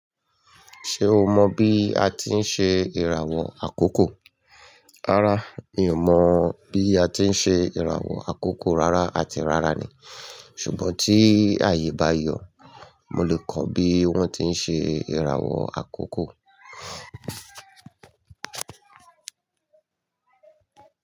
Ṣé o mọ bí a tí ń ṣe ìràwọ̀ àkókò? Rárá, mi ò mọ̀ bí a ti ń ṣe ìràwọ̀ àkókò rárá àti rárá ni. Ṣùgbọ́n tí ayé e bá yọ̀, mo lè kọ́ bí wọ́n ti ń ṣe ìràwọ̀ àkókò.